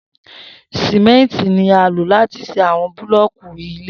Simenti ni a lo lati ṣe awọn bulọọki ile